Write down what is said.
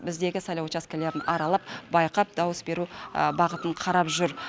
біздегі сайлау учаскелерін аралап байқап дауыс беру бағытын қарап жүр